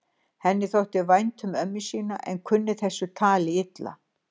Henni þótti vænt um ömmu sína en kunni þessu tali illa.